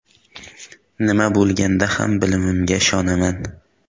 Nima bo‘lganda ham bilimimga ishonaman.